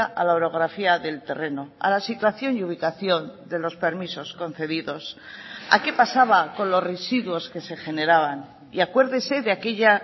a la orografía del terreno a la situación y ubicación de los permisos concedidos a qué pasaba con los residuos que se generaban y acuérdese de aquella